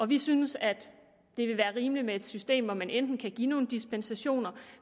vi synes at det vil være rimeligt med et system hvor man enten kan give nogle dispensationer